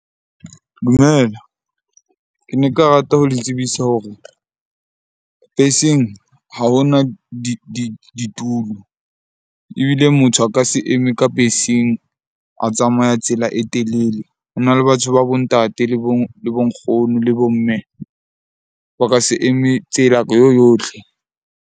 Dumela, ke ne nka rata ho le tsebisa hore beseng ha hona ditulo ebile motho a ka se eme ka beseng a tsamaya tsela e telele. Ho na le batho ba bo ntate, le bo nkgono le bo mme ba ka se eme tsela yo yotlhe.